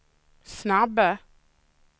snabba